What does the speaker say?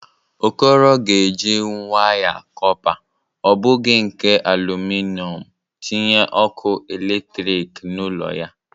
Okoro ga-eji waya kọpa, ọ bụghi nke alụmịnọm, tinye ọkụ eletriki n'ụlọ ya.